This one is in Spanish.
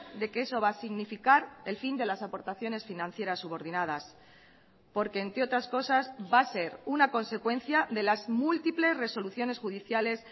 de que eso va a significar el fin de las aportaciones financieras subordinadas porque entre otras cosas va a ser una consecuencia de las múltiples resoluciones judiciales